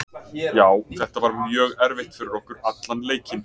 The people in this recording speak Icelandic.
Já þetta var mjög erfitt fyrir okkur allan leikinn.